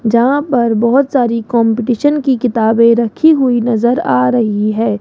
जहां पर बहोत सारी कंपटीशन की किताबें रखी हुई नजर आ रही है।